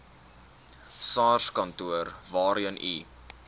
sarskantoor waarheen u